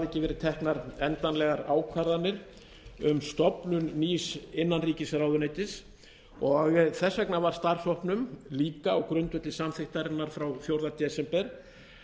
verið teknar endanlegar ákvarðanir um stofnun nýs innanríkisráðuneytis og þess vegna var starfshópnum líka á grundvelli samþykktarinnar frá fjórða desember